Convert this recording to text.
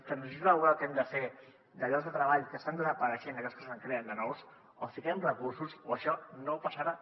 la transició laboral que hem de fer de llocs de treball que estan desapareixent a llocs que se’n creen de nous o hi fiquem recursos o això no passarà